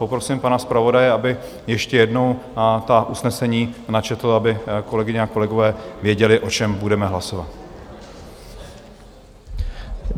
Poprosím pana zpravodaje, aby ještě jednou ta usnesení načetl, aby kolegyně a kolegové věděli, o čem budeme hlasovat.